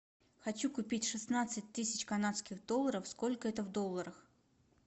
хочу купить шестнадцать тысяч канадских долларов сколько это в долларах